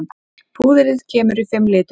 Púðrið kemur í fimm litum.